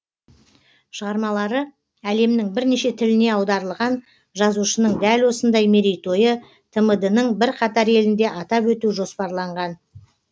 шығармалары әлемнің бірнеше тіліне аударылған жазушының дәл осындай мерейтойы тмд ның бірқатар елінде атап өту жоспарланған